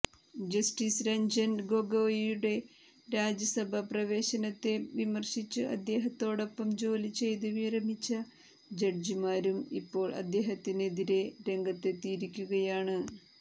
justice Ranjan ഗൊഗോയ്യുടെ രാജ്യസഭാപ്രവേശത്തെ വിമർശിച്ച് അദ്ദേഹത്തോടൊപ്പം ജോലിചെയ്ത് വിരമിച്ച ജഡ്ജിമാരും ഇപ്പോൾ അദ്ദേഹത്തിനെതിരെ രംഗത്തെത്തിയിരിക്കുകയാണ്